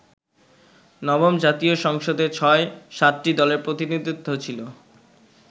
নবম জাতীয় সংসদে ছয়-সাতটি দলের প্রতিনিধিত্ব ছিল।